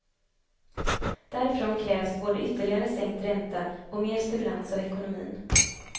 Därifrån krävs både ytterligare sänkt ränta och mer stimulans av ekonomin.